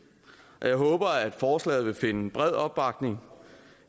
jeg håber at forslaget vil finde bred opbakning